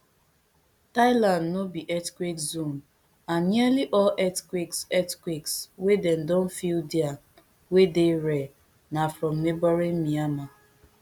thailand no be earthquake zone and nearly all earthquakes earthquakes wey dem don feel dia wey dey rare na from neighbouring myanmar